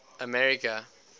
america